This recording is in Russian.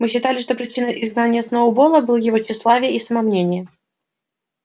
мы считали что причиной изгнания сноуболла были его тщеславие и самомнение